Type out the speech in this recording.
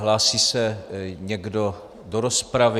Hlásí se někdo do rozpravy?